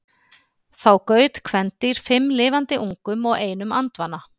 Þá gaut kvendýr fimm lifandi ungum og einum andvana.